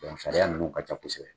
sariya ninnu ka ca kosɛbɛ.